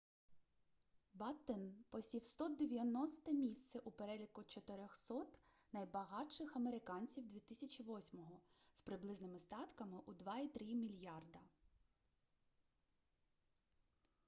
баттен посів 190-те місце у переліку 400-от найбагатших американців 2008-го з приблизними статками у 2.3 мільярда